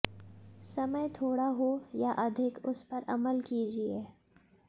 समय थोड़ा हो या अधिक उस पर अमल कीजिए